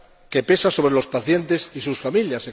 que pesa sobre los pacientes y sus familias.